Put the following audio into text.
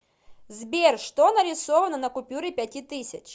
сбер что нарисовано на купюре пяти тысяч